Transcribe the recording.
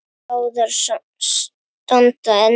Báðar standa enn.